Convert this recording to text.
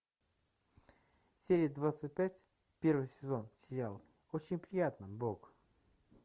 серия двадцать пять первый сезон сериал очень приятно бог